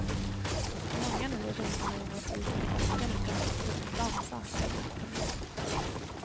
Många nöjer sig inte med gymnastiken i backen utan skall dessutom dansa, gärna natten lång.